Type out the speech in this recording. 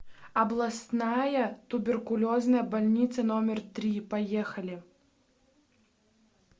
областная туберкулезная больница номер три поехали